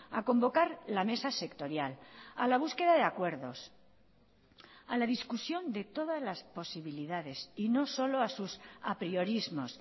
a convocar la mesa sectorial a la búsqueda de acuerdos a la discusión de todas las posibilidades y no solo a sus apriorismos